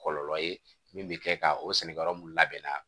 Kɔlɔlɔ ye min bɛ kɛ ka o sɛnɛ yɔrɔ mun labɛnna